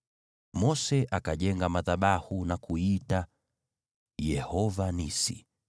Mose akajenga madhabahu na kuiita Yehova Nisi.